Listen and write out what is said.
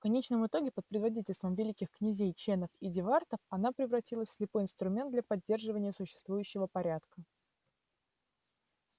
в конечном итоге под предводительством великих князей ченов и дивартов она превратилась в слепой инструмент для поддержания существующего порядка